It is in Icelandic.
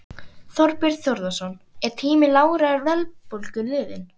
Og hversu mörg eru þau nú?